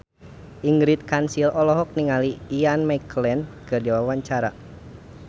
Ingrid Kansil olohok ningali Ian McKellen keur diwawancara